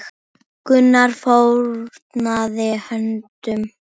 Gunnar fórnaði höndum.